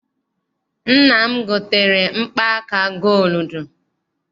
Nna m gotere mkpa aka gooludu.